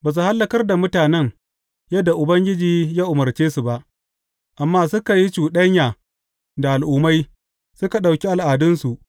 Ba su hallakar da mutanen yadda Ubangiji ya umarce su ba, amma suka yi cuɗanya da al’ummai suka ɗauki al’adunsu.